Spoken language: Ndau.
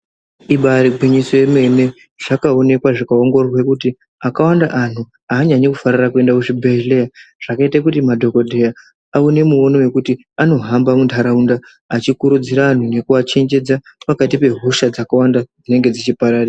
Ibari gwinyiso yemene. Zvakaonekwa zvikaongororwa kuti akawanda anhu anyanyi kufarira kuenda kuzvibhedhleya zvakaita kuti madhokodheya awone muono wekuti anohamba muntaraunda achikurudzira vanhu nekuvachenjedza pakati pehosha dzakawanda dzinenge dzichipararira.